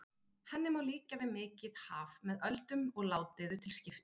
Henni má líkja við mikið haf með öldum og ládeyðu til skipta.